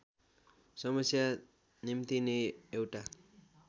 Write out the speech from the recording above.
समस्या निम्तिने एउटा